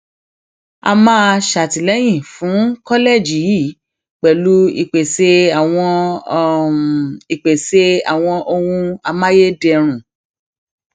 a máa ṣàtìlẹyìn fún kọlẹẹjì yìí pẹlú ìpèsè àwọn ìpèsè àwọn ohun amáyédẹrùn